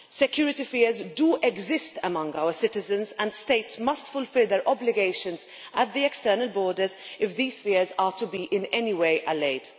Security fears do exist among our citizens, and states must fulfil their obligations at the external borders if these fears are to be in any way allayed.